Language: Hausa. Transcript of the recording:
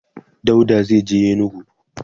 dauda zaije yenagoa